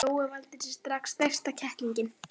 Jói valdi sér strax stærsta kettlinginn.